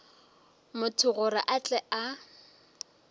motho gore a tle a